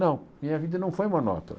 Não, minha vida não foi monótona.